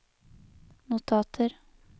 notater